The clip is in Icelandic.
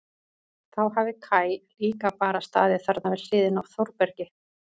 Þá hafi Kaj líka bara staðið þarna við hliðina á Þórbergi.